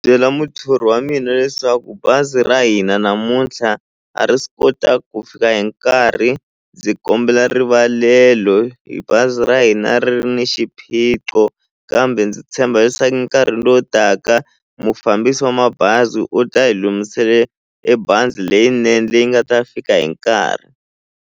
Byela muthori wa mina leswaku bazi ra hina namuntlha a ri swi kota ku fika hi nkarhi ndzi kombela rivalelo hi bazi ra hina ri ni xiphiqo kambe ndzi tshemba leswaku nkarhi lowu taka mufambisi wa mabazi u ta hi e bazi leyinene leyi nga ta fika hi nkarhi.